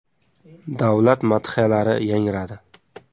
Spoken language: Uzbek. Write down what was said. Davlat madhiyalari yangradi.